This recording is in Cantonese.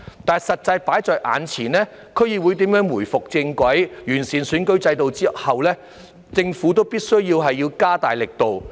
但是，實際放在眼前的是，對於區議會如何回復正軌，完善選舉制度之後政府必須加大力度。